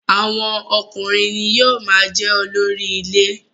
Awọn ọkùnrin ni yóò máa jẹ́ olórí ilé.